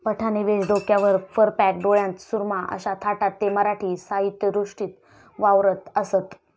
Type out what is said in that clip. पठाणी वेष, डोक्यावर फरकॅप, डोळ्यांत सुरमा अशा थाटात ते मराठी सहित्यसृष्टीत वावरत असत.